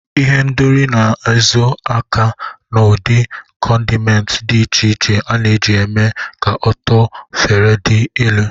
Ihendori na-ezo aka n'ụdị condiments dị iche iche a na-eji eme ka ụtọ efere dị elu.